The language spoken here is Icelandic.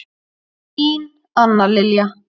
Þín Anna Lilja.